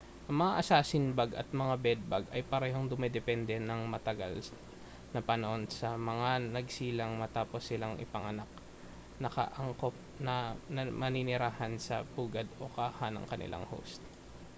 ang mga assassin-bug at mga bed-bug ay parehong dumedepende nang matagal na panahon sa mga nagsilang matapos silang ipanganak nakaangkop na manirahan sa pugad o kaha ng kanilang host